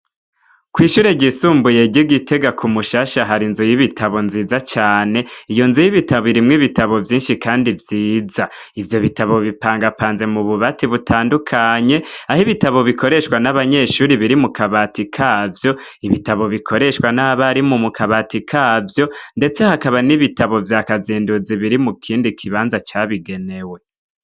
Kw'ishure ryisumbuye ry'Igitega kumushasha hari inzu y'ibitabo nziza cane, iyo nzu y'ibitabo irimwo ibitabo vyinshi kandi vyiza ivyo bitabo bipangapanze mubibanza bitandukanye, aho ibitabo bikoreshwa n'abanyeshure biri mukabati kavyo, ibitabo bikoreshwa n'abarimu mukabati kavyo, ndetse hakaba n'ibitabu vya kazenduzi biri mukibanza cabigenewe.